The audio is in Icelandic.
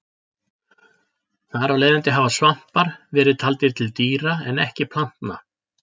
Þar af leiðandi hafa svampar verið taldir til dýra en ekki plantna.